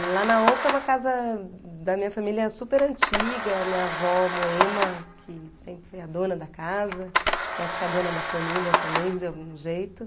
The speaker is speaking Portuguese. E lá na onça é uma casa da minha família super antiga, minha avó Moema, que sempre foi a dona da casa, e acho que a dona da família também, de algum jeito.